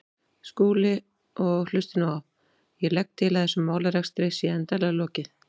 Skúli, og hlustið nú á: Ég legg til að þessum málarekstri sé endanlega lokið.